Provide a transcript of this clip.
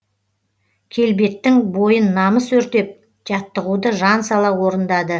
келбеттің бойын намыс өртеп жаттығуды жан сала орындады